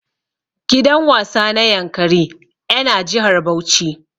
Gidan wasa na yankari ƴa na jihar Bauchi.